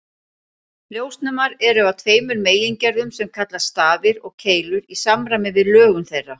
Ljósnemar eru af tveimur megingerðum sem kallast stafir og keilur í samræmi við lögun þeirra.